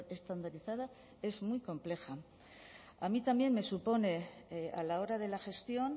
estandarizada es muy compleja a mí también me supone a la hora de la gestión